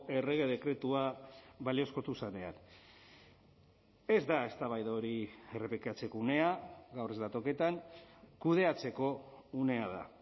errege dekretua baliozkotu zenean ez da eztabaida hori errepikatzeko unea gaur ez da toketan kudeatzeko unea da